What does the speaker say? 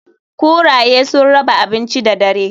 Kuraye sun raba abinci da dare.